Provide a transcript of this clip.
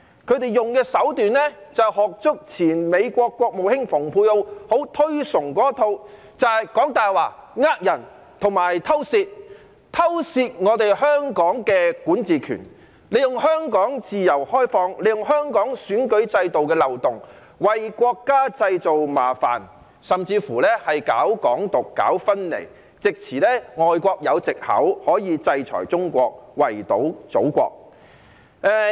他們用的手段就是仿效前美國國務卿蓬佩奧很推崇的一套，也就是講大話、騙人及偷竊，偷竊我們香港的管治權，利用香港自由開放及香港選舉制度的漏洞，為國家製造麻煩，甚至搞"港獨"、搞分離，使外國有藉口制裁中國，圍堵祖國。